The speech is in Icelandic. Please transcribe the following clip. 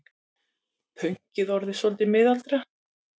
Pönkið orðið soltið miðaldra.